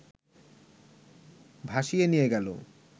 ভাসিয়ে নিয়ে গেল